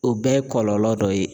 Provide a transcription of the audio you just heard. O bɛɛ ye kɔlɔlɔ dɔ ye.